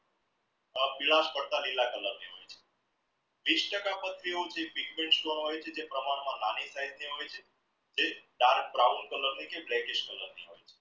પીડાસ પડતાં લીલા colour વિષ ટકા પથરીઓ તે પ્રમાણ માં નાની size ની હોય છે dark brown ની છે blackies colour ની છે